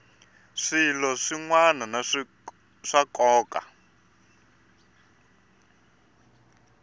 swilo swin wana swa nkoka